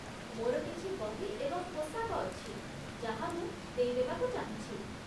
ମୋର କିଛି ବହି ଏବଂ ପୋଷାକ ଅଛି ଯାହା ମୁଁ ଦେଇଦେବାକୁ ଚାହୁଁଛି।